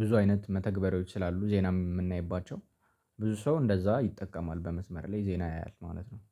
ብዙ አይነት መተግበሪያዎች ስላሉ ዜና የምናይባቸው። ብዙ ሰው እንደዛ ይጠቀማል በመስመር ላይ ዜና ያያል ማለት ነው